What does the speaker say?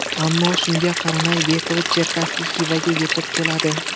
Ammo shunga qaramay Bekovich-Cherkasskiy Xivaga yetib keladi.